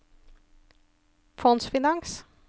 fondsfinans